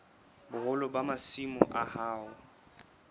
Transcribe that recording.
boholo ba masimo a hao